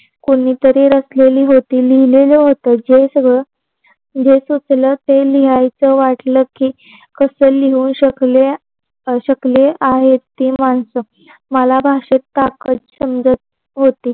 कोणतरी रचलेल होती लिहलेल होती. जे सगळ जे सोचल ते लिहायच वाटल की कस लिहू शकल शकले आहे ते मानस. मला भाषेत ताकत समजत होती.